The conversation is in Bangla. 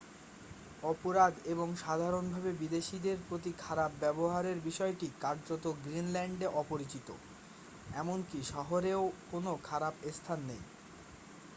"অপরাধ এবং সাধারণভাবে বিদেশীদের প্রতি খারাপ ব্যবহারের বিষয়টি কার্যত গ্রিনল্যান্ডে অপরিচিত। এমনকি শহরেও কোনও "খারাপ স্থান" নেই।